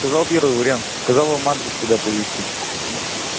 сказал первый вариант сказала вам адрес куда привезти хорошо